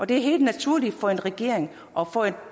det er helt naturligt for en regering og for et